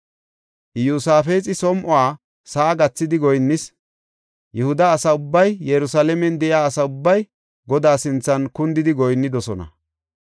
Iyosaafexi som7o sa7a gathidi goyinnis; Yihuda asa ubbay Yerusalaamen de7iya asa ubbay Godaa sinthan kundidi goyinnidosona.